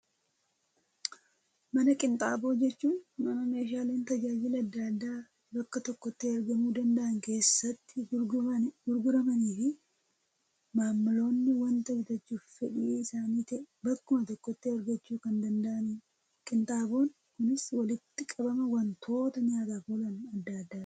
Mana qinxaaboo jechuun, mana meeshaaleen tajaajila addaa addaa bakka tokkotti argamuu danda'an keessatti gurguramaniifii, maamiloonni waanta bitachuuf fedhii isaanii ta'e bakkuma tokkotti argachuu kan danda'anidha. Qinxaaboon kunis walitti qabama wantoota nyaataf oolan addaa addaati.